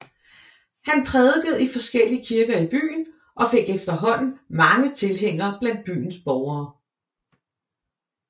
Han prædikede i forskellige kirker i byen og fik efterhånden mange tilhængere blandt byens borgere